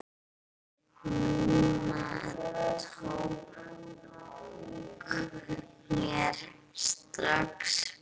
Nunna tók mér strax vel.